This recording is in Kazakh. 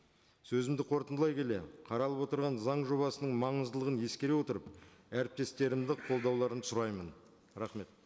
сөзімді қорытындылай келе қаралып отырған заң жобасының маңыздылығын ескере отырып әріптестерімді қолдауларын сұраймын рахмет